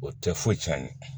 O tɛ foyi cɛn